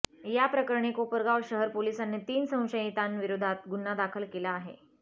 याप्रकरणी कोपरगाव शहर पोलिसांनी तीन संशयितां विरोधात गुन्हा दाखल केला आहे